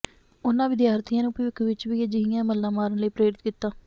ਉਨ੍ਹਾਂ ਵਿਦਿਆਰਥੀਆਂ ਨੂੰ ਭਵਿੱਖ ਵਿੱਚ ਵੀ ਅਜਿਹੀਆਂ ਮੱਲਾਂ ਮਾਰਨ ਲਈ ਪ੍ਰੇਰਿਤ ਕੀਤਾ